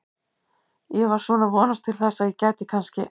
Ég var svona að vonast til þess að ég gæti kannski.